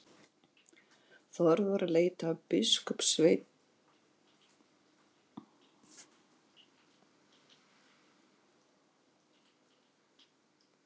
Þórður leit á biskupssveininn og spurði: Geturðu hugsað þér annað eins?!